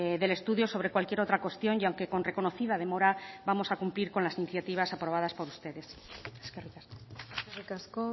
del estudio sobre cualquier otra cuestión y aunque con reconocida demora vamos a cumplir con las iniciativas aprobadas por ustedes eskerrik asko